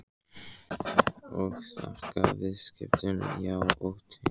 Og þakka viðskiptin, já og teið.